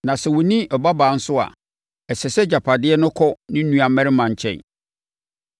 Na sɛ ɔnni ɔbabaa nso a, ɛsɛ sɛ agyapadeɛ no kɔ ne nuammarima nkyɛn.